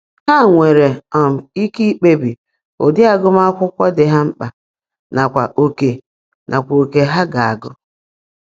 Ha nwere um ike ikpebi ụdị agụmakwụkwọ dị ha mkpa nakwa oke nakwa oke ha ga-agụ.